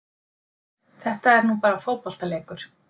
Þetta er nú bara fótboltaleikur